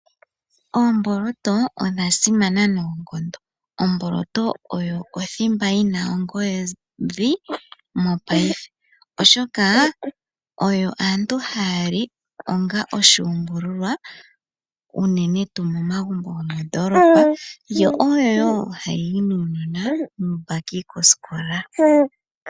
Oomboloto odha simana noonkondo. Omboloto oyo othimba yi na ongodhi mopaife, oshoka oyo aantu haya li onga oshuumbululwa unene tuu momagumbo gomondolopa. Yo oyo wo hayi yi nuunona muumbaki kosikola.